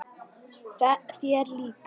Þér líka?